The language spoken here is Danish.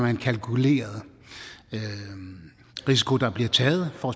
en kalkuleret risiko der bliver taget for